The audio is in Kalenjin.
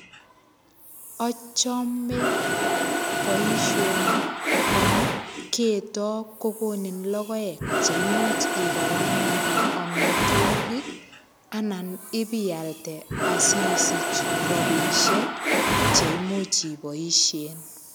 Achame boisoni amu keto kokonin logoek cheimuch ikaranganen amitwogik, anan ipialde asisich rabisiek cheimuch iboisien.